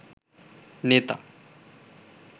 নেতা